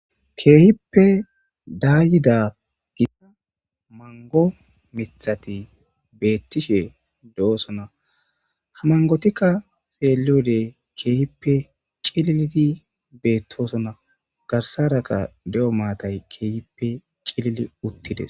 keehippe daayida gissa mango mithati beettishe de7osona hamangotikka xeeliyode keehippe cililidi beettosona garsaraka de7o maatay keehippe cilili uttides